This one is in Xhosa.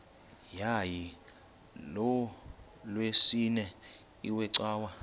yayilolwesine iwe cawa